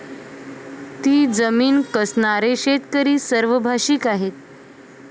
ती जमीन कसणारे शेतकरी सर्वभाषिक आहेत.